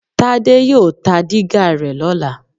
Tádé yóò ta dígà rẹ lọ́la